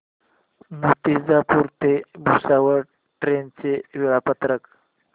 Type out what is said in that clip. मूर्तिजापूर ते भुसावळ ट्रेन चे वेळापत्रक